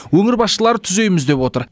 өңір басшылары түзейміз деп отыр